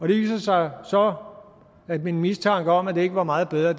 det viste sig så at min mistanke om at det ikke var meget bedre